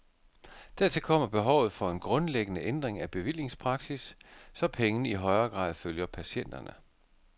Dertil kommer behovet for en grundlæggende ændring af bevillingspraksis, så pengene i højere grad følger patienterne.